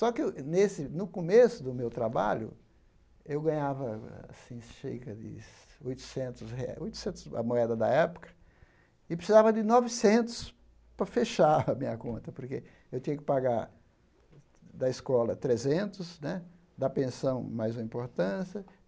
Só que nesse no começo do meu trabalho, eu ganhava, assim, chega de oitocentos re, oitocentos a moeda da época, e precisava de novecentos para fechar a minha conta, porque eu tinha que pagar da escola trezentos né, da pensão mais uma importância.